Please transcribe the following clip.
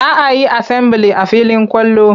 Za a yi asambili a filin kwallo.